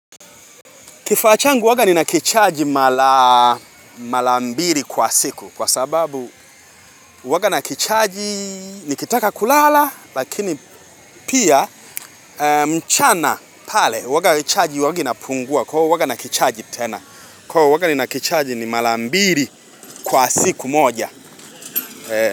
Kifaa changu huwaga nina kichaji mara mara mbili kwa siku kwa sababu huwanga na kichaji nikitaka kulala lakini pia mchana pale huwanga chaji huwanga inapungua kwa huwanga nina kichaji tena kwa huwanga nina kichaji ni mara mbili kwa siku moja.